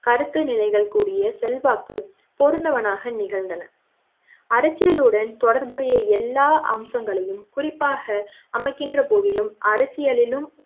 கருத்து நிலைகள் கூறிய செல்வாக்கு பொறந்த வனாக நிகழ்ந்தன அரசியலுடன் தொடர்புடைய எல்லா அம்சங்களையும் குறிப்பாக அமைகின்ற போதிலும் அரசியலிலும்